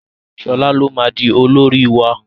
Shola ló má dì olórí wá!